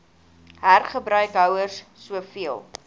hergebruik houers soveel